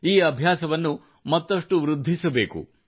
ಈ ಅಭ್ಯಾಸವನ್ನು ವೃದ್ಧಿಸಬೇಕು